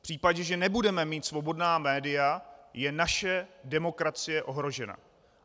V případě, že nebudeme mít svobodná média, je naše demokracie ohrožena.